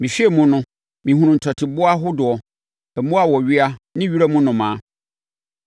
Mehwɛɛ mu no, mehunuu ntɔteboa ahodoɔ, mmoa a wɔwea ne wiram nnomaa.